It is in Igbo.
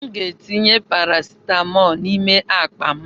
M ga-etinye parasitamọlu n'ime akpa m.